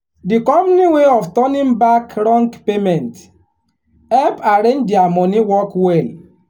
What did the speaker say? the company way of turning back wrong payment help arrange their money work well.